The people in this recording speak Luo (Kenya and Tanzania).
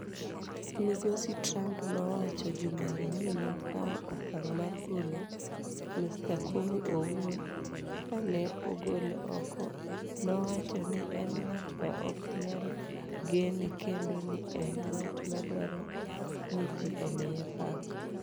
"""Migosi Trump nowacho jumani ni nokawo okang' mar golo Mr Comey owuon, Ka ne ogole oko, nowacho ni en ng’at ma ok nyal gene kendo ni en ng’at ma dwaro ni ji omiye pak.